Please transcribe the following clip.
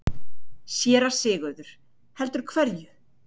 SÉRA SIGURÐUR: Heldur hverju?